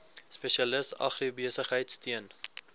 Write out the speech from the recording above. spesialis agribesigheid steun